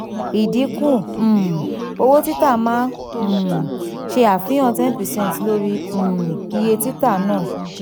idinku um owo tita maa um ń ṣe àfihàn ten per cent lori um iye tita naa.